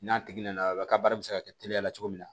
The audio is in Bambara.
N'a tigi nana ka baara bɛ se ka kɛ teliya la cogo min na